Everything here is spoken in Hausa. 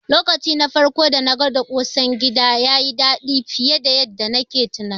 Lokaci na farko dana gwada ƙosan gida, yayi daɗi fiye da yanda nayi tunani.